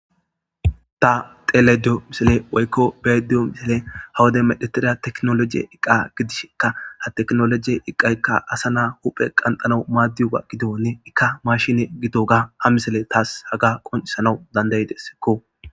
Ta dhelayda de'iyo missilen woyko be'ayda diyo missilen ha wodiya medhetida tekinoloje iqa gidishinka ha tekinoloje iqayka asa na'a huphe qandhanaw madiyoga gidoni ika machine gidoga ha missiley tas haga qonc'isanaw danda'desko.